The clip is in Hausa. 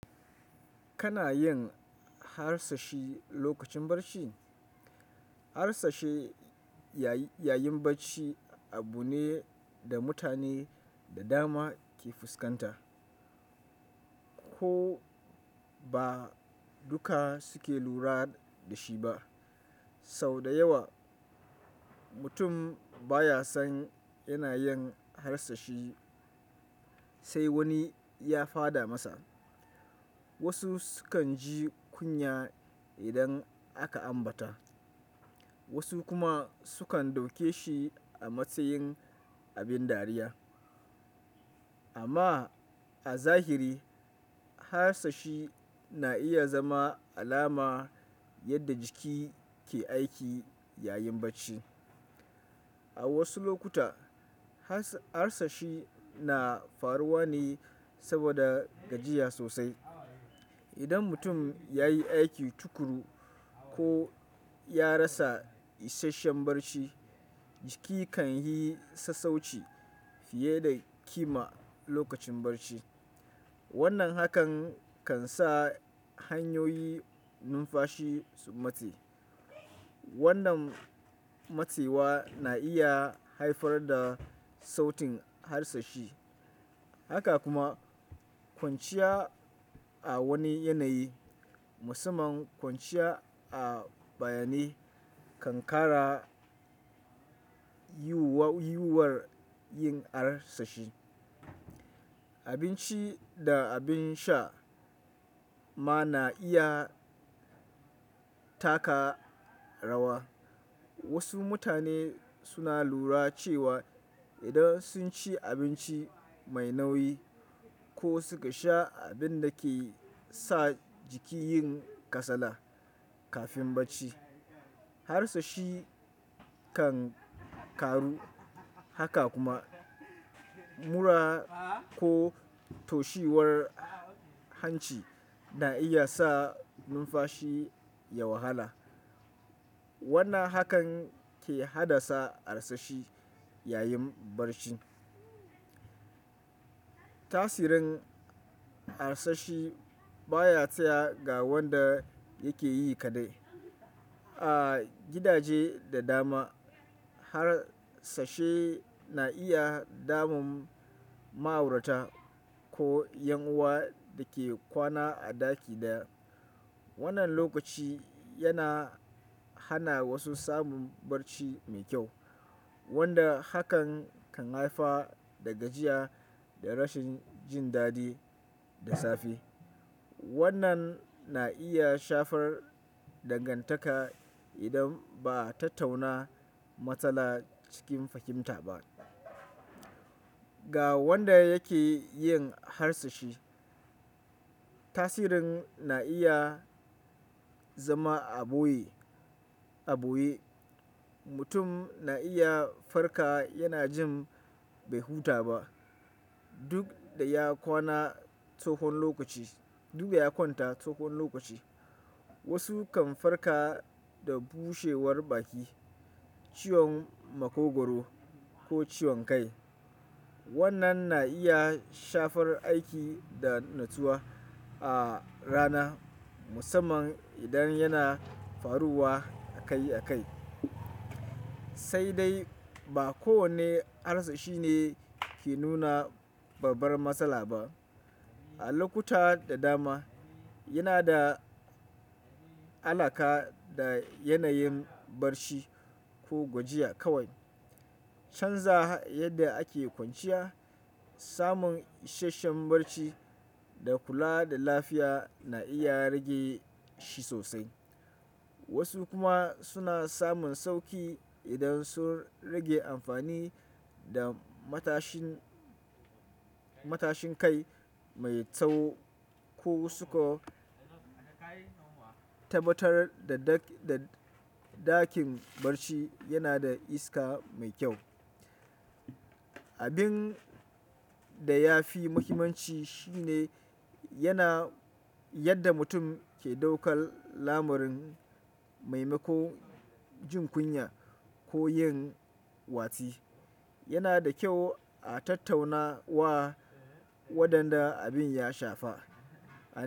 Kana yin harsashi lokacin barci? Harsashi yayin barci abu ne da mutane da dama ke fuskanta. Ko ba duka suke lura da shi ba. Sau da yawa mutum baya son yana yin harsashi sai wani ya faɗa masa. Wasu sukan ji kunya idan aka ambata, wasu kuma sukan dauke shi a matsayin abin dariya. Amma a zahiri harsashi na iya zama alama yadda jiki ke aiki yayin barci. A wasu lokuta harsashi na faruwa ne saboda gajiya sosai. Idan mutum ya yi aiki tukuru ko ya rasa isasshen barci, jiki kan yi sassauci fiye da kima lokacin barci. Wannan hakan kan sa hanyoyi numfashi su mate. Wannan matewa na iya haifar da sautin harsashi. Haka kuma kwanciya a wani yanayi, musamman kwanciya a bayanai kan ƙara yiwuwar yin harsashi. Abinci da abin sha ma na iya taka rawa. Wasu mutane suna lura cewa idan sun ci abinci mai nauyi ko suka sha abin da ke sa jiki yin kasala kafin barci, harsashi kan ƙaru. Haka kuma mura ko toshewar hanci na iya sa numfashi ya wahala. Wannan hakan ke haddasa harsashi yayin barci. Tasirin harsashi baya tsaya ga wanda yake yi kaɗai. A gidaje da dama harsashe na iya damun ma'aurata ko ƴan uwa da ke kwana a ɗaki ɗaya. Wannan lokaci yana hana wasu samun barci mai kyau wanda hakan kan haifa daga gajiya da rashin jin dadi da safe. Wannan na iya shafar dangantaka idan ba ta tauna matsala cikin fahimta ba. Ga wanda yake yin harsashi, tasirin na iya zama a ɓoye-a ɓoye. Mutum na iya farka yana jin bai huta ba duk da ya kwana tsahon lokaci. Wasu kan farka da bushewar baki, ciwon makogwaro ko ciwon kai. Wannan na iya shafar aiki da nutsuwa a rana musamman idan yana faruwa akai-akai. Sai dai ba kowane harsashi ne ke nuna babbar matsala ba. A lokuta da dama yana da alaƙa da yanayin barci ko gwajiya kawai. Canza yadda ake kwanciya, samun isasshen barci da kula da lafiya na iya rage shi sosai. Wasu kuma suna samun sauƙi idan sun rage amfani da matashin kai mai tsawo ko su ka tabbatar da ɗakin barci yana da iska mai kyau. Abin da ya fi muhimmanci shi ne yadda mutum ke daukar lamarin maimako jin kunya ko yin watsi. Yana da kyau a tattauna wa wadanda abin ya shafa.